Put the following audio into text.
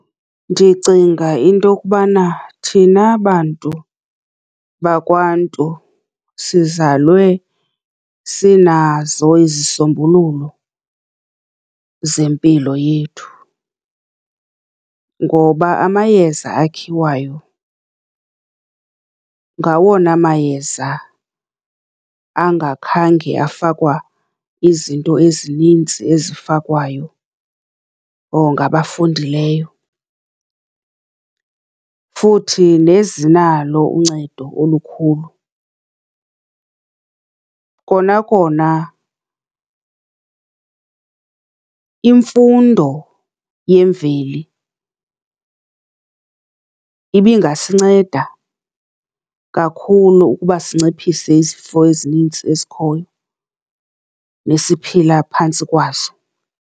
Ndicinga into yokubana thina bantu bakwaNtu sizalwe sinazo izisombululo zempilo yethu ngoba amayeza akhiwayo ngawona mayeza angakhange afakwa izinto ezinintsi ezifakwayo ngabafundileyo, futhi nezinalo uncedo olukhulu. Kona kona imfundo yemveli ibingasinceda kakhulu ukuba sinciphise izifo ezinintsi ezikhoyo, nesiphila phantsi kwazo.